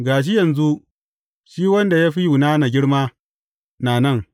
Ga shi yanzu, shi wanda ya fi Yunana girma, na nan.